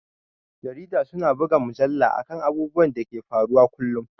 Jarida su na rubuta mujalla a kan abubuwan da ke faruwa kullum